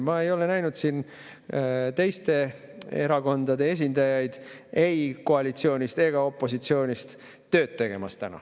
Ma ei ole näinud siin teiste erakondade esindajaid ei koalitsioonist ega opositsioonist täna tööd tegemas.